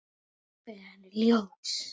Þá rennur upp fyrir henni ljós.